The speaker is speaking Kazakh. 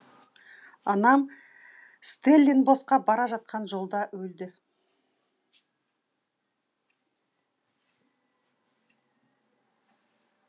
анам стелленбосқа бара жатқан жолда өлді